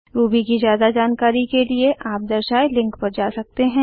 Ruby की ज्यादा जानकारी के लिए आप दर्शाए लिंक पर जा सकते हैं